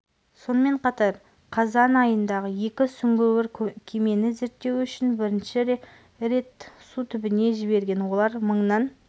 сонымен қатар қазан айында екі сүңгуір кемені зерттеу үшін бірнеше рет су түбіне жіберген олар мыңнан